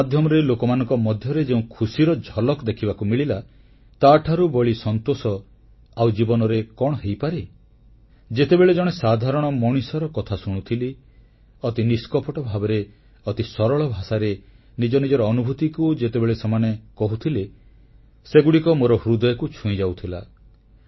ଏହା ମାଧ୍ୟମରେ ଲୋକମାନଙ୍କ ମଧ୍ୟରେ ଯେଉଁ ଖୁସିର ଝଲକ ଦେଖିବାକୁ ମିଳିଲା ତାଠାରୁ ବଳି ସନ୍ତୋଷ ଆଉ ଜୀବନରେ କଣ ହୋଇପାରେ ଯେତେବେଳେ ଜଣେ ସାଧାରଣ ମଣିଷର କଥା ଶୁଣୁଥିଲି ଅତି ନିଷ୍କପଟ ଭାବରେ ଅତି ସରଳ ଭାଷାରେ ନିଜ ନିଜର ଅନୁଭୂତି ଯେତେବେଳେ ସେମାନେ କହୁଥିଲେ ସେଗୁଡ଼ିକ ମୋର ହୃଦୟକୁ ଛୁଇଁଯାଉଥିଲା